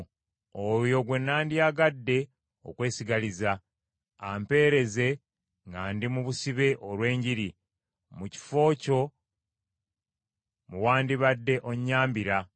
oyo gwe nandyagadde okwesigaliza, ampeereze nga ndi mu busibe olw’enjiri, mu kifo kyo mwe wandibadde onnyambira,